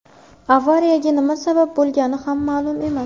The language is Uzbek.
Avariyaga nima sabab bo‘lgani ham ma’lum emas.